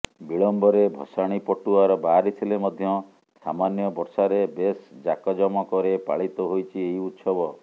ବିଳମ୍ବରେ ଭସାଣୀ ପଟୁଆର ବାହାରିଥିଲେ ମଧ୍ୟ ସାମାନ୍ୟ ବର୍ଷାରେ ବେଶ୍ ଜାକଜମକରେ ପାଳିତ ହୋଇଛି ଏହି ଉତ୍ସବ